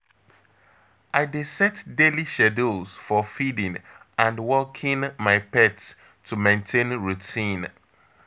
I dey set daily schedules for feeding and walking my pet to maintain routine.